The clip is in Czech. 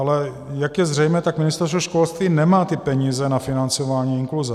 Ale jak je zřejmé, tak Ministerstvo školství nemá ty peníze na financování inkluze.